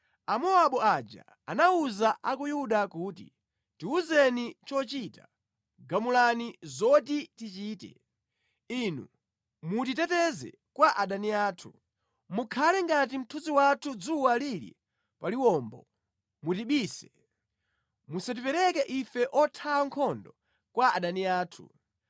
Amowabu aja anawuza a ku Yuda kuti, “Tiwuzeni chochita, gamulani zoti tichite. Inu mutiteteze kwa adani anthu. Mukhale ngati mthunzi wathu dzuwa lili pa liwombo. Mutibise, musatipereke ife othawa nkhondo kwa adani athu.